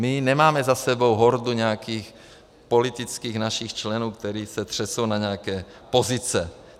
My nemáme za sebou hordu nějakých politických našich členů, kteří se přesunou na nějaké pozice.